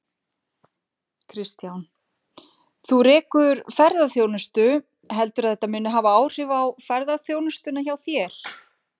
Kristján: Þú rekur ferðaþjónustu, heldurðu að þetta muni hafa áhrif á ferðaþjónustuna hjá þér?